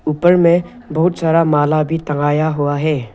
ऊपर में बहुत सारा माला भी टंगाया हुआ है।